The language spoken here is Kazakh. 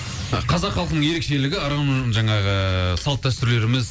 қазақ халқының ерекшелігі ырым жаңағы салт дәстүрлеріміз